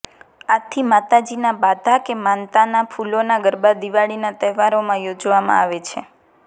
આથી માતાજીના બાધા કે માનતાના ફુલોના ગરબા દિવાળીના તહેવારોમાં યોજવામાં આવે છે